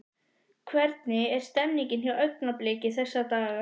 Hvernig er stemningin hjá Augnabliki þessa dagana?